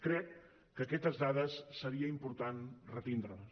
crec que aquestes dades seria important retenir les